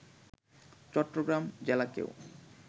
Chittagong জেলাকেও